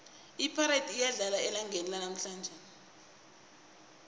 ipirates iyadlala elangeni lanamhlanje